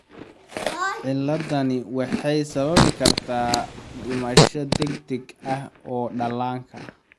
Ciladdani waxay sababi kartaa dhimasho degdeg ah oo dhallaanka ah.